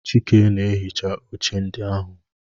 Chike na-ehicha oche ndị ahụ